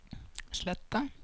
Sletta